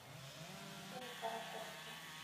семикаракорске